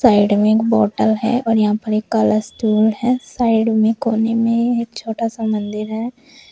Side में एक bottle है और यहां पर एक काला स्टूल है साइड में कोने में एक छोटा सा मंदिर है।